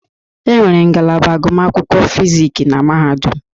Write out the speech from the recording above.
Enwere ngalaba agụmakwụkwọ Fizik na Mahadum.